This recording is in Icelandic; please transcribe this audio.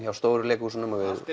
hjá stóru leikhúsunum og við